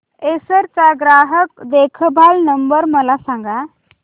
Acer चा ग्राहक देखभाल नंबर मला सांगा